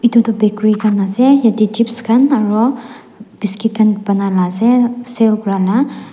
itu bakery khan ase yate chips khan aro biscuit khan banai la ase sell kuria la.